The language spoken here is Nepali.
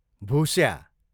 भुस्या